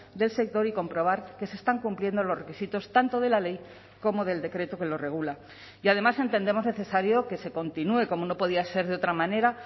del sector y comprobar que se están cumpliendo los requisitos tanto de la ley como del decreto que lo regula y además entendemos necesario que se continúe como no podía ser de otra manera